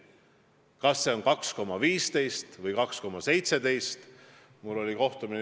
Kas see on 2,15% või 2,17%?